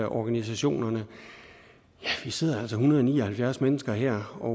organisationerne ja vi sidder altså en hundrede og ni og halvfjerds mennesker her og